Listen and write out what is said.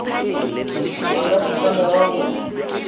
a ka se tlamege go